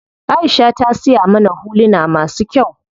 Aisha ta siya mana huluna masu kyau.